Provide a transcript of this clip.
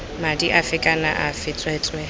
madi afe kana afe tsweetswee